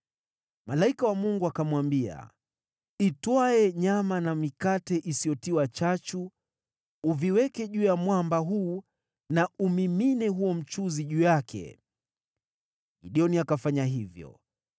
Malaika wa Mungu akamwambia, “Itwae nyama na mikate isiyotiwa chachu, uviweke juu ya mwamba huu na umimine huo mchuzi juu yake.” Gideoni akafanya hivyo.